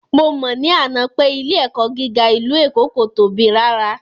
Mo mọ̀ ní àná pé ilé ẹ̀kọ́ gíga ìlú Èkó kò tóbi rárá